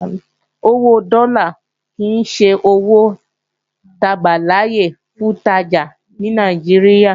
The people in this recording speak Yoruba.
Owó dọ́là kìí ṣe owó ta gbàláyè fún ìtajà ní Nàìjíríà